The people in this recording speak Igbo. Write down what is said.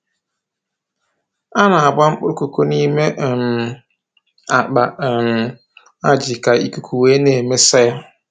A na-agba mkpụrụ koko n'ime um akpa um ajị ka ikuku wee na-emesa ya